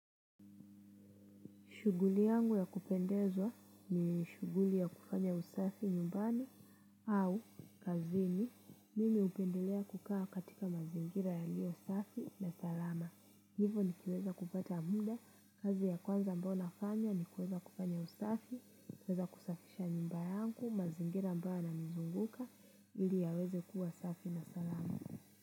Shuguli yangu ya kupendezwa ni shuguli ya kufanya usafi nyumbani au kazini mimi hupendelea kukaa katika mazingira yalio usafi na salama. Hivo nikiweza kupata munda kazi ya kwanza ambao nafanya ni kuweza kufanya usafi, kuweza kusafisha nyumba yangu, mazingira ambayo yananizunguka ili yaweze kuwa safi na salama.